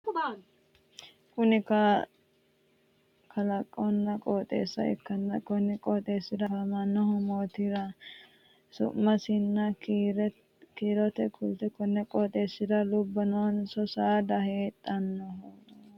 Kunni kallaqonna qooxeessa ikanna konni qooxeesira afamanohu maatironna su'mansa kiirte kuli? Konni qooxeesira lubo noonsa saada heedhanoha ikanna tenne saada su'ma kuli?